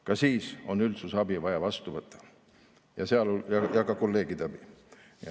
Ka siis on üldsuse abi vaja vastu võtta, samuti kolleegide abi.